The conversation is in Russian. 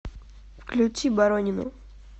включи боронину